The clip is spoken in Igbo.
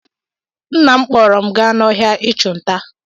Nna m kpọọrọ m gaa n'ọhịa ịchụ nta